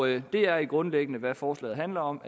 det er grundlæggende hvad forslaget handler om